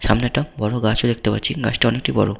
সামনে একটা বড় গাছ ও দেখতে পাচ্ছি। গাছটা অনেকটি বড়।